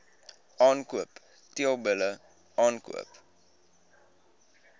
aankoop teelbulle aankoop